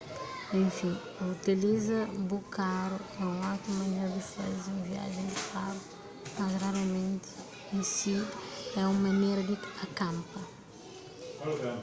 enfin utiliza bu karu é un ótimu manera di faze un viajen di karu mas raramenti en si é un manera di akanpa